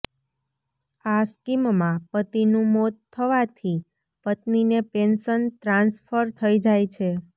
આ સ્કીમમાં પતિનું મોત થવાથી પત્નીને પેન્શન ટ્રાન્સફર થઇ જાય છે